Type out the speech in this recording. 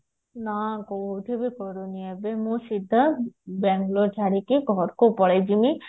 ନା କୋଉଠି ବି କରୁନି ଏବେ ମୁଁ ସିଧା ବାଙ୍ଗାଲୋର ଛାଡିକି ଘରକୁ ପଳେଈ ଯିବି